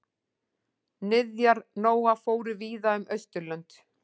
Niðjar Nóa fóru víða um Austurlönd.